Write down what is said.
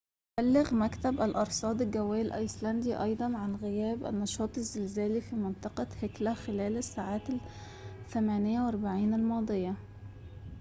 أبلغ مكتب الأرصاد الجوية الأيسلندي أيضاً عن غياب النشاط الزلزالي في منطقة هيكلا خلال الساعات ال48 الماضية